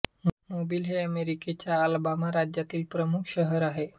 Mobil हे अमेरिकेच्या Alabama राज्यातील प्रमुख शहर आहे